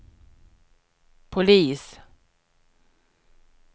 polis